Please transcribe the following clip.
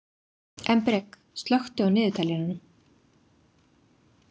Embrek, slökktu á niðurteljaranum.